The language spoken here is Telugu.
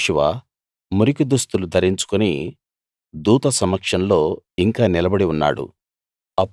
యెహోషువ మురికి దుస్తులు ధరించుకుని దూత సమక్షంలో ఇంకా నిలబడి ఉన్నాడు